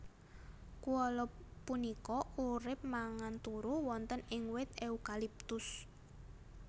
Koala punika urip mangan turu wonten ing wit eukaliptus